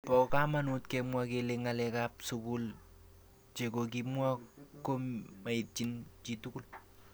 Bo kamanut kemwa kele ng'alek ab sukul chekokimwa ko maityin chitugul.